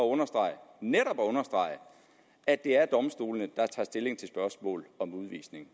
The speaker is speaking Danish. understrege at det er domstolene der tager stilling til spørgsmål om udvisning